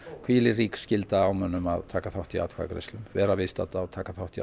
hvílir rík skylda á mönnum að taka þátt í atkvæðagreiðslum vera viðstadda og taka þátt í